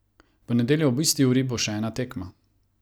V nedeljo ob isti uri bo še ena tekma.